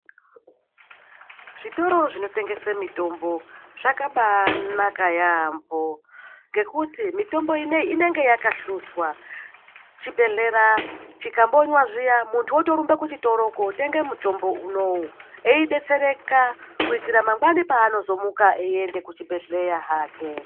Zvitoro zvinotengese mitombo zvakabanaka yaambo ngekuti mitombo ineyii inenge yakahluzwa. Chibhehlera chikabonywa zviya, muntu otorumbe kuchitoro kootenge mutombo unowu eidetsereka kuitira mangwani paanozomuka eienda kuchibhedhleya hake.